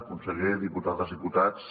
conseller diputades diputats